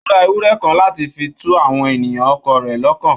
Ó ra ewurẹ kan láti fi tu àwọn ènìyàn ọkọ rẹ̀ lọ́kàn.